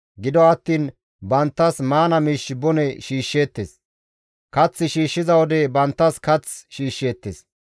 Gido attiin banttas maana miish bone shiishsheettes; kath shiishshiza wode banttas kath shiishsheettes.